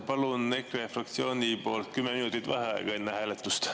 Palun EKRE fraktsiooni poolt 10 minutit vaheaega enne hääletust.